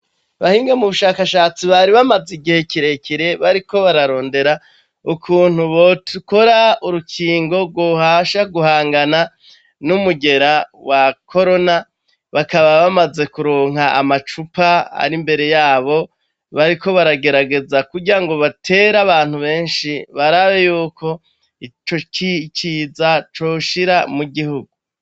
Bahinge mu bushakashatsi bari bamaze igihe kirekere bariko bararondera ukuntu botukora urukingo rwohasha guhangana n'umugera wa korona bakaba bamaze kuronka amacupa ari imbere yabo bariko baragerageza kurya ngo batera abantu benshi barabe yuko ico ciza coshira mu gihugu.